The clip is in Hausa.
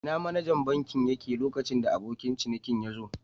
Ina manajan bankin yake lokacin da abokin cinikin yazo?.